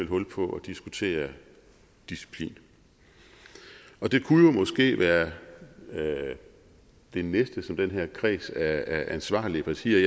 hul på at diskutere disciplin det kunne måske være det næste som den her kreds af ansvarlige partier